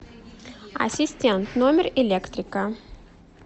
ассистент номер электрика